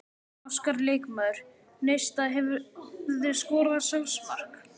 Óskar leikmaður Neista Hefurðu skorað sjálfsmark?